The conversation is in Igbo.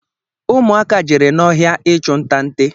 Ụmụ aka jere n'ọhịa ịchụ nta nte